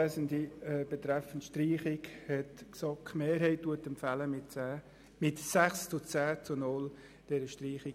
Betreffend Streichung empfiehlt die GSoK-Mehrheit mit 6 zu 10 Stimmen bei 0 Enthaltungen, diese abzulehnen.